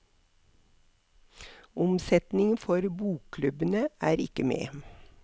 Omsetningen for bokklubbene er ikke med.